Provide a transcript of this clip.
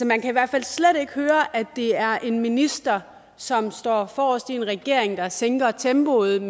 man kan i hvert fald slet ikke høre at det er en minister som står forrest i en regering der sænker tempoet